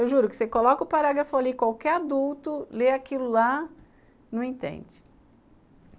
Eu juro que você coloca o parágrafo ali, qualquer adulto lê aquilo lá, não entende.